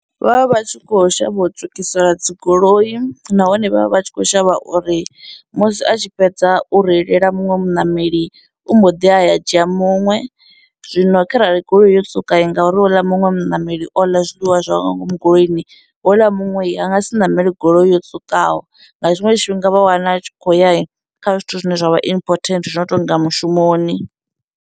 Vha vha vha tshi khou shavha u tswukisa dzigoloi, nahone vha vha vha tshi khou shavha uri musi a tshi fhedza u reilela muṅwe muṋameli u mbo ḓi ya a ya a dzhia muṅwe, zwino kharali goloi yo tswuka ngauri houḽa muṅwe muṋameli o ḽa zwiḽiwa zwawe nga ngomu goloini houḽa muṅwe a nga si ṋamele goloi yo tswukaho, nga tshiṅwe tshifhinga vha wana a tshi khou ya kha zwithu zwine zwa vha important zwi no tonga mushumoni.